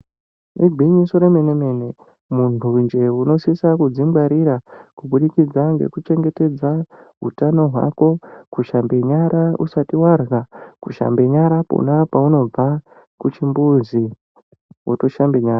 Igwinyiso remene-mene muntu jee unosisa kudzingwarira kubudikidza ngekuchengetedza hutano hwako. Kushambe nyara usati varya, kushambe nyara pona paunobva kuchimbuzi votoshambe nyara.